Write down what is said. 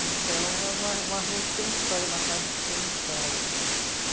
Então, é uma rua que tem história, uma casa que tem história.